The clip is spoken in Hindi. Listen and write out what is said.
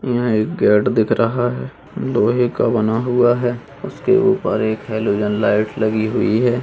यहाँ एक गेट दिख रहा है लोहे का बना हुआ है उसके ऊपर एक हेलोजन लाइट लगी हुई है।